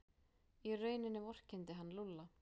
Í rauninni vorkenndi hann Lúlla.